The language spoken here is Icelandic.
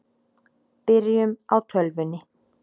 Byrjum á tölvunni.